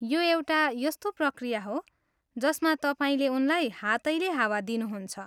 यो एउटा यस्तो प्रक्रिया हो जसमा तपाईँले उनलाई हातैले हावा दिनुहुन्छ।